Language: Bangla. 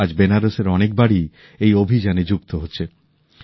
আজ বেনারসের অনেক বাড়িই এই অভিযানে যুক্ত হচ্ছে